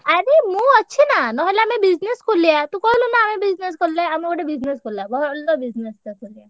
ଆରେ ମୁଁ ଅଛି ନା ନହେଲେ ଆମେ business ଖୋଲିଆ, ତୁ କହିଲୁନା ଆମେ business ଖୋଲିଆ, ଆମେ ଗୋଟେ business ଖୋଲିଆ ଭଲ business ଟେ ଖୋଲିଆ।